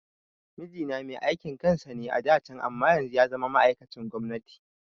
Mijina mai aikin kansa ne a da can amma yanzu yazama ma'aikacin gwamnati